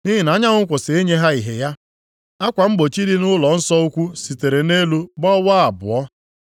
Nʼihi na anyanwụ kwụsịrị inye ihe ya. Akwa mgbochi dị nʼụlọnsọ ukwu sitere nʼelu gbawaa abụọ.